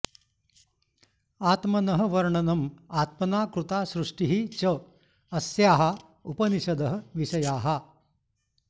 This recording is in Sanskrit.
आत्मनः वर्णनम् आत्मना कृता सृष्टिः च अस्याः उपनिषदः विषयाः